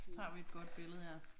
Tager vi et godt billede her